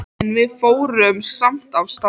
En við fórum samt af stað.